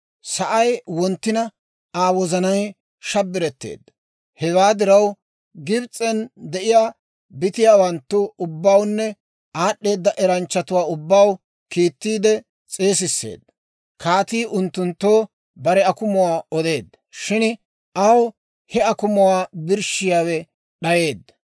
Sa'ay wonttina, Aa wozanay shabbiretteedda; hewaa diraw Gibs'en de'iyaa bitiyaawanttu ubbawunne aad'd'eeda eranchchatuwaa ubbaw kiittiide s'eesisseedda; kaatii unttunttoo bare akumuwaa odeedda; shin aw he akumuwaa birshshiyaawe d'ayeedda.